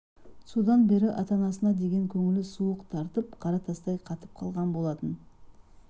содан бері ата-анасының деген көңілі суық тартып қара тастай қатып қалған болатын